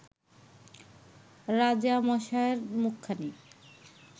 রাজামশায়ের মুখখানি